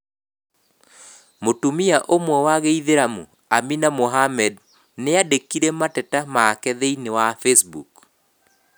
Mũtumia omwe wa gĩithĩramu, Amina Mohammed, nĩandĩkire mateta make thĩinĩ wa Facebook.